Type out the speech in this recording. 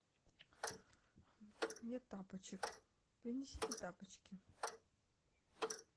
нет тапочек принесите тапочки